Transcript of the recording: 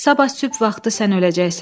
Sabah sübh vaxtı sən öləcəksən.